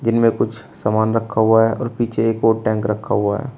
जिनमें कुछ सामान रखा हुआ है और पीछे एक और टैंक रखा हुआ है।